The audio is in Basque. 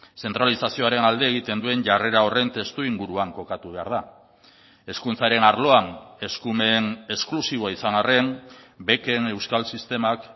zentralizazioaren alde egiten duen jarrera horren testuinguruan kokatu behar da hezkuntzaren arloan eskumen esklusiboa izan harren beken euskal sistemak